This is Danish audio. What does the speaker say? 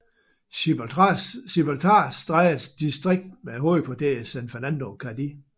Gibraltarstrædets distrikt med hovedkvarter i San Fernando Cádiz